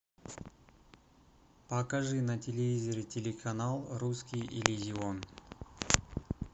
покажи на телевизоре телеканал русский иллюзион